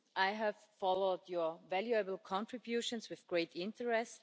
I have followed Members' valuable contributions with great interest.